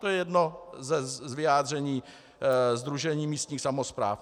To je jedno z vyjádření Sdružení místních samospráv.